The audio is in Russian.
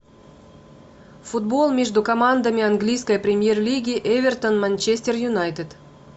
футбол между командами английской премьер лиги эвертон манчестер юнайтед